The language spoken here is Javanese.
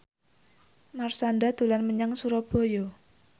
Marshanda dolan menyang Surabaya